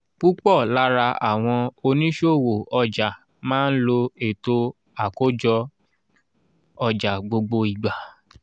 púpò lára àwọn oníṣòwò ọjà má ń lo ètò àkójọ ọjà gbogbo ìgbà.